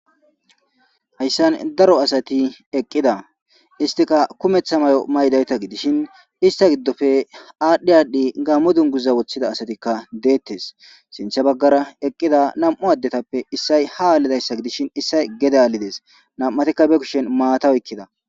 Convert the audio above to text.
hayssan daro asati eqqida istika kumeththa mayo maydayta gidishin ista giddofe aadhdhi aadhdhi gammo dunguza woththida asatikka deettes sinthe baggara eqqida nam7u addetappe issay ha aalidayssa gidishin issay gedaalides nam7atikka be kushen maata wykkida